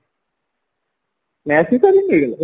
Snehasish sir କି